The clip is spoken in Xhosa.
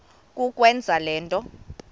kukwenza le nto